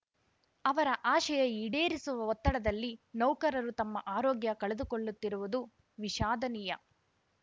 ಅವರ ಆಶಯ ಈಡೇರಿಸುವ ಒತ್ತಡದಲ್ಲಿ ನೌಕರರು ತಮ್ಮ ಆರೋಗ್ಯ ಕಳೆದುಕೊಳ್ಳುತ್ತಿರುವುದು ವಿಷಾದನೀಯ